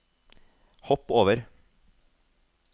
hopp over